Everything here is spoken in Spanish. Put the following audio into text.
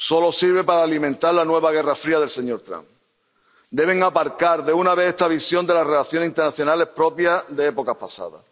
Solo sirve para alimentar la nueva Guerra Fría del señor Trump. Deben aparcar de una vez esta visión de las relaciones internacionales propia de épocas pasadas.